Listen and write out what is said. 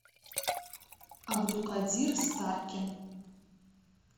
абдукадир старкин